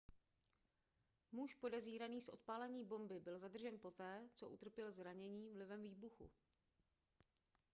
muž podezíraný z odpálení bomby byl zadržen poté co utrpěl zranění vlivem výbuchu